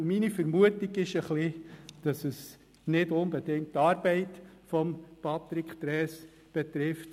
Meine Vermutung ist, dass es nicht die Arbeit von Patrick Trees betrifft.